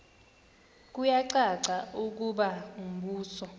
kuyacaca ukuba umbuso